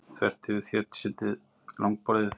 Þvert yfir þéttsetið langborðið.